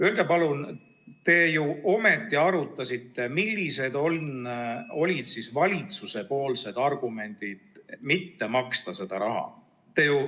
Öelge palun, te ju ometi arutasite seda, millised olid valitsuse argumendid mitte maksta seda raha.